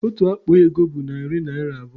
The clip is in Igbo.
Otu akpa ego bụ narị naira abụọ